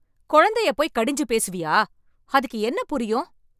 குழந்தையப் பொய் கடிஞ்சு பேசுவியா? அதுக்கு என்ன புரியும்?